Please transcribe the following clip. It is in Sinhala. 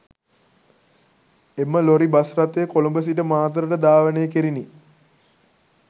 එම ලොරි බස් රථය කොළඹ සිට මාතරට ධාවනය කෙරිණි